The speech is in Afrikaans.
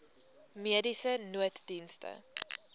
mediese nooddienste